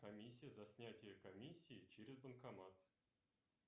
комиссия за снятие комиссии через банкомат